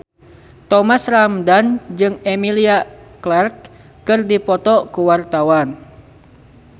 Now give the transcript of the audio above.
Thomas Ramdhan jeung Emilia Clarke keur dipoto ku wartawan